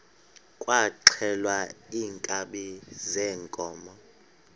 kwaxhelwa iinkabi zeenkomo